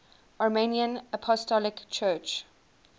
armenian apostolic church